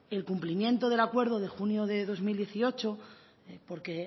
el cumplimiento del acuerdo de junio de dos mil dieciocho porque